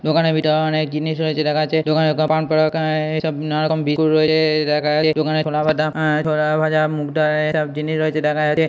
দোকানের ভিতর অনেক জিনিস রয়েছে দেখাযাচ্ছে দোকানে পানপরাগ আহ এইসব নানা রকম রয়েছে দেখা যাচ্ছে দোকানে ছোলাভাঙা আহ ছোলাভাজা মুগডাল সব জিনিস রয়েছে দেখা যাচ্ছে।